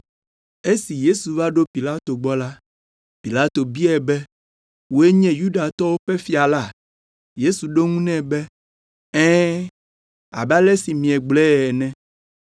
Esi Yesu va ɖo Pilato gbɔ la, Pilato biae be, “Wòe nye Yudatɔwo ƒe fia la?” Yesu ɖo eŋu nɛ be, “Ɛ̃, abe ale si miegblɔe ene.”